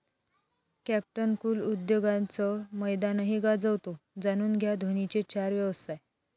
Captain Cool उद्योगाचं मैदानही गाजवतो, जाणून घ्या धोनीचे चार व्यवसाय